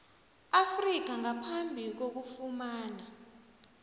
afrika ngaphambi kokufumana